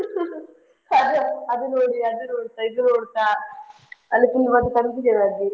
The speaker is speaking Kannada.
ಅದ್ ಅದು ನೋಡಿ ಅದು ನೋಡ್ತಾ ಇದು ನೋಡ್ತಾ ಅಲ್ಲಿ ತುಂಬಾ confusion ಆಗಿ.